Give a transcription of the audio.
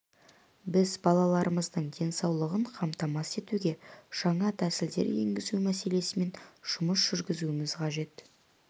біз балаларымыздың денсаулығын қамтамасыз етуге жаңа тәсілдер енгізу мәселесімен жұмыс жүргізуіміз қажет